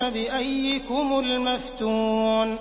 بِأَييِّكُمُ الْمَفْتُونُ